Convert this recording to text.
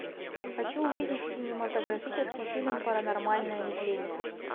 хочу увидеть кинематографический фильм паранормальное явление